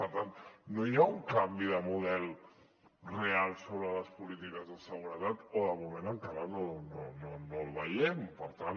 per tant no hi ha un canvi de model real sobre les polítiques de seguretat o de moment encara no el veiem per tant